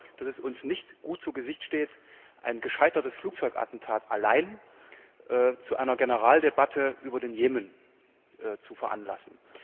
Ich glaube, dass es uns nicht gut zu Gesicht steht, wenn uns ein gescheitertes Flugzeugattentat allein zu einer Generaldebatte über den Jemen zu veranlasst.